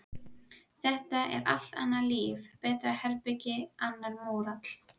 Þetta er allt annað líf, betra herbergi, annar mórall.